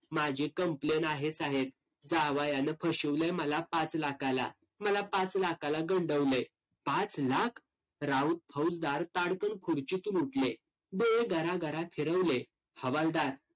माझी complaint आहे साहेब जावयानं फशीवलंय मला पाच लाखाला. मला पाच लाखाला गंडवलंय. पाच लाख? राऊत फौजदार ताडकन खुर्चीतून उठले. गरागरा फिरवले. हवालदार